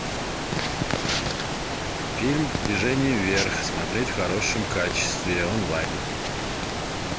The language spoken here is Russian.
фильм движение вверх смотреть в хорошем качестве онлайн